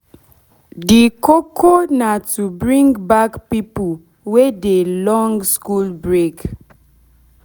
de koko na to bring back pipo wey dey long school break